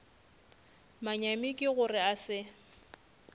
manyami ke gore a se